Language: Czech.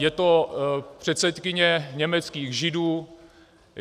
Je to předsedkyně německých Židů.